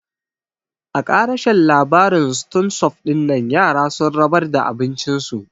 A ƙarashen labarin ston sup dinnan yara sun rabar da abin cin su